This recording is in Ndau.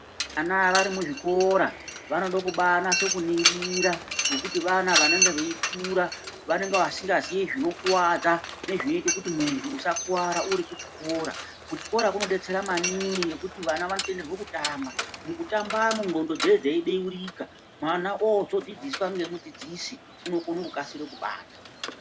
Vana vari muzvikora vanoda kubaanase kuningira ngekuti vana vanenge veikura vanenge vasingazii zvinokuwadza nezvinoita kuti muntu usakuwara uri kuchikora. Kuchikora kunodetsera maningi ngekuti vana vanotenderwa kutamba, mukutambamwo ndxondo dzinenge dzeibeurika mwana oozodzidziswa ngemudzidzisi unokone kukasire kubata.